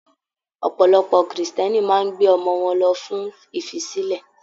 Ọ̀pọ̀lọpọ̀ Kírísítẹ́nì máa n gbé ọmọ wọn lọ fún ifisilẹ.